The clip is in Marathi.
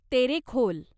तेरेखोल